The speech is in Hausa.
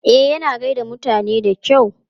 E, yana gai da mutane da kyau.